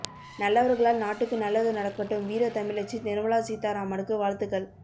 நல்லவர்களால் நாட்டுக்கு நல்லது நடக்கட்டும் வீர தமிழச்சி நிர்மலா சீதாராமனுக்கு வாழ்த்துக்கள்